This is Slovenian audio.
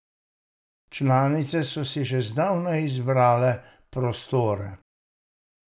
Članice so si že zdavnaj izbrale prostore.